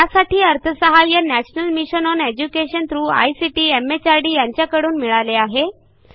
यासाठी MHRDयांच्याकडून अर्थसहाय्य मिळालेले आहे